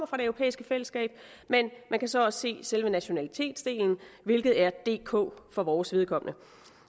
fra det europæiske fællesskab men man kan så også se selve nationalitetsdelen hvilket er dk for vores vedkommende